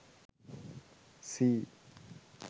sea